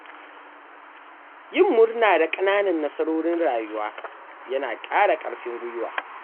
Yin murna da ƙananan nasarorin rayuwa yana ƙara ƙarfin guiwa.